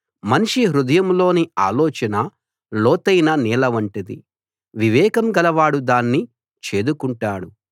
మనిషి హృదయంలోని ఆలోచన లోతైన నీళ్ల వంటిది వివేకం గలవాడు దాన్ని చేదుకుంటాడు